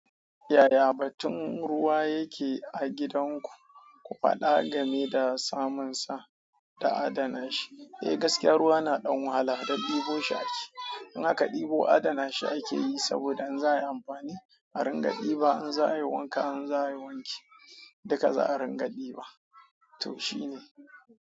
Yaya batun ruwa yake a gidan ku? Ku faɗa game da samunsa da adana shi. Eh gaskiyar ruwa na ɗan wahala don ɗibo shi ake. In aka ɗibo adana shi ake yi saboda in za a yi amfani a ringa ɗiba. In za a yi wanka, in za a yi wanki duka za a ringa ɗiba. To shi ne.